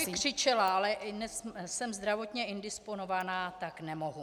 Já bych křičela, ale jsem zdravotně indisponovaná, tak nemohu.